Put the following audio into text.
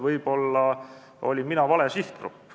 Võib-olla olin mina vale sihtgrupp.